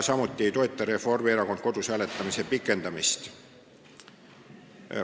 Samuti ei toeta Reformierakond kodus hääletamise pikendamist.